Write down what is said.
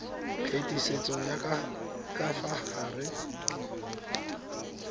phetisetso ya ka fa gare